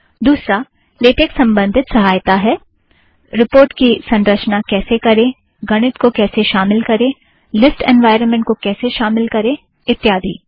दुसरा - लेटेक संबंधित सहायता है - रिपोर्ट की संरचना कैसे करें गणित को कैसे शामिल करें लीस्ट एन्वायरमेंट को कैसे शामिल करें इत्यादि